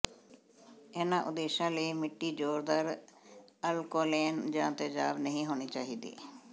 ਇਹਨਾਂ ਉਦੇਸ਼ਾਂ ਲਈ ਮਿੱਟੀ ਜ਼ੋਰਦਾਰ ਅਲਕੋਲੇਨ ਜਾਂ ਤੇਜ਼ਾਬ ਨਹੀਂ ਹੋਣੀ ਚਾਹੀਦੀ